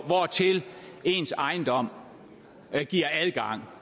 hvortil ens ejendom giver adgang